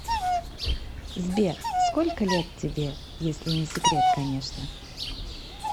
сбер сколько лет тебе если не секрет конечно